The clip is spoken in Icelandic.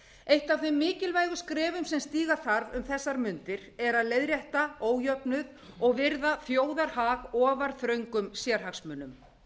eitt af þeim mikilvægu skrefum sem stíga þarf um þessar mundir er að leiðrétta ójöfnuð og virða þjóðarhag ofar þröngum sérhagsmunum